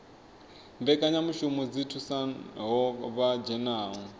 mbekanyamushumo dzi thusaho vha dzhenaho